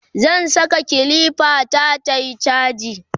zan Saka kilifa ta tayi chaji